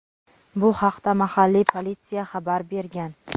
Bu haqda mahalliy politsiya xabar bergan.